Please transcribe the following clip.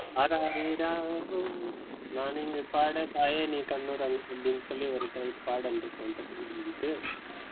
ஆராரிராரோ நான் இங்கு பாட தாயே நீ கண்ணுறங்கு என்று சொல்லி ஒரு பாடல் இருக்கு தெரியுமா உங்களுக்கு?